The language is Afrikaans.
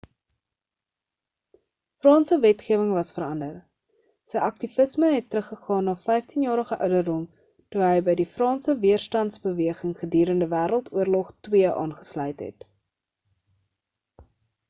franse wetgewing was verander sy aktivisme het terug gegaan na 15 jarige ouderdom toe hy by die franse weerstandsbeweging gedurende wêreld oorlog ii aangesluit het